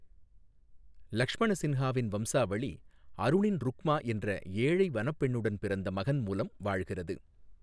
லட்சுமணசின்ஹாவின் வம்சாவளி அருணின் ருக்மா என்ற ஏழை வனப் பெண்ணுடன் பிறந்த மகன் மூலம், வாழ்கிறது.